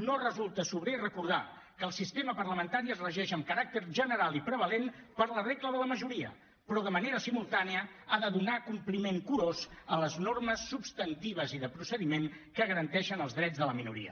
no resulta sobrer recordar que el sistema parlamentari es regeix amb caràcter general i prevalent per la regla de la majoria però de manera simultània ha de donar compliment curós a les normes substantives i de procediment que garanteixen els drets de la minoria